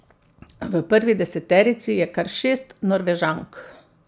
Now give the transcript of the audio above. V prvi deseterici je kar šest Norvežank.